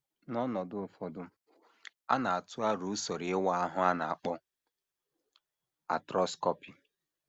N’ọnọdụ ụfọdụ, a na - atụ aro usoro ịwa ahụ a na - akpọ arthroscopy.